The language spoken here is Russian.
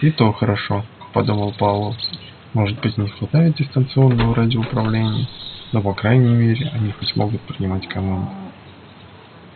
и то хорошо подумал пауэлл может быть и не хватает дистанционного радиоуправления но по крайней мере они хоть могут принимать команды